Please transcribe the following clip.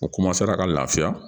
O ka lafiya